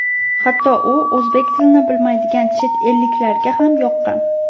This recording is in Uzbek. Hatto u o‘zbek tilini bilmaydigan chet elliklarga ham yoqqan.